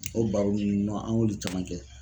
O baro ninnu an y'olu caman kɛ